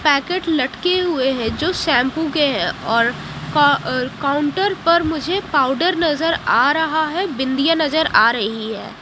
Packet लटके हुए हैं जो शैंपू के और का काउंटर पर मुझे पाउडर नजर आ रहा है बिंदिया नजर आ रही है।